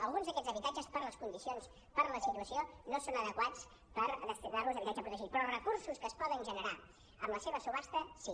alguns d’aquests habitatges per les condicions per la situació no són adequats per destinar los a habitatge protegit però els recursos que es poden generar amb la seva subhasta sí